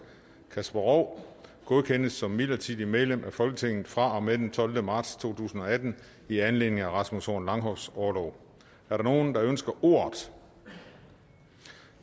kasper roug godkendes som midlertidigt medlem af folketinget fra og med den tolvte marts to tusind og atten i anledning af rasmus horn langhoffs orlov er der nogen der ønsker ordet